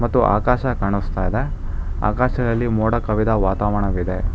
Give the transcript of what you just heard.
ಮತ್ತು ಆಕಾಶ ಕಾಣಿಸ್ತಾ ಇದೆ ಆಕಾಶದಲ್ಲಿ ಮೋಡ ಕವಿದ ವಾತಾವರಣವಿದೆ.